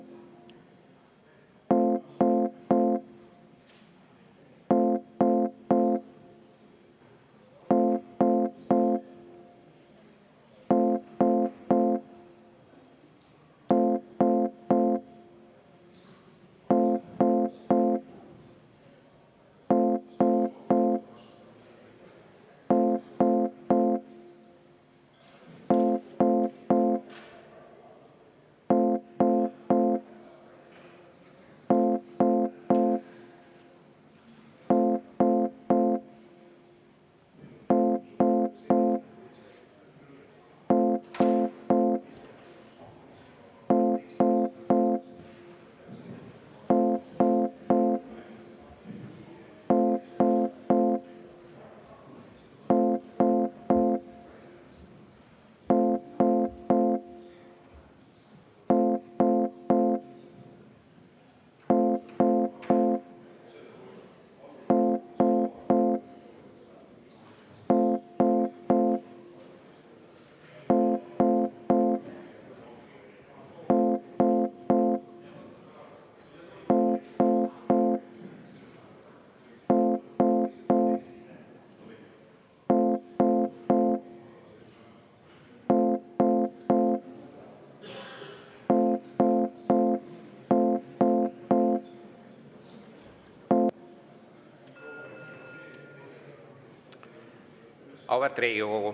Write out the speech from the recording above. Auväärt Riigikogu!